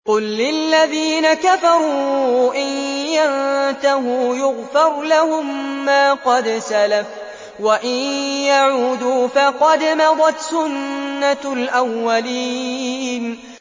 قُل لِّلَّذِينَ كَفَرُوا إِن يَنتَهُوا يُغْفَرْ لَهُم مَّا قَدْ سَلَفَ وَإِن يَعُودُوا فَقَدْ مَضَتْ سُنَّتُ الْأَوَّلِينَ